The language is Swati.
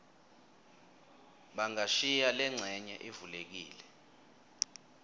bangashiya lencenye ivulekile